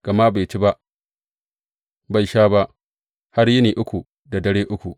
Gama bai ci ba, bai sha ba, har yini uku da dare uku.